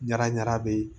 Ɲaraɲa bee